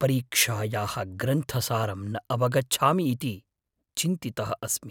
परीक्षायाः ग्रन्थसारं न अवगच्छामि इति चिन्तितः अस्मि।